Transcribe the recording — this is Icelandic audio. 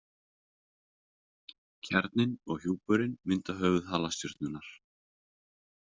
Kjarninn og hjúpurinn mynda höfuð halastjörnunnar.